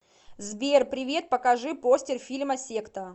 сбер привет покажи постер фильма секта